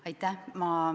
Aitäh!